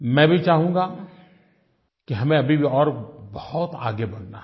मैं भी चाहूँगा कि हमें अभी भी और बहुत आगे बढ़ना है